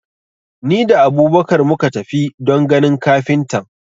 Ni da Abubakar muka tafi don ganin kafintan.